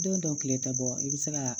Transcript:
Don dɔ kile tɛ bɔ i bɛ se ka